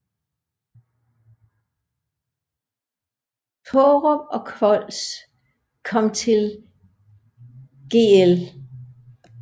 Tårup og Kvols kom til Gl